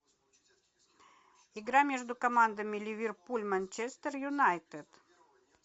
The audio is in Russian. игра между командами ливерпуль манчестер юнайтед